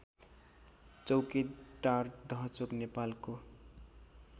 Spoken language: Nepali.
चौकेटार दहचोक नेपालको